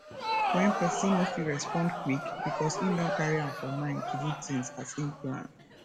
when person no fit respond quick because im don carry am for mind to do things as im plan